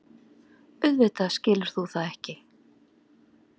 Auðvitað skilur þú það ekki.